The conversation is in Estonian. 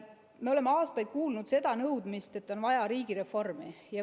Me oleme aastaid kuulnud seda nõudmist, et on vaja riigireformi.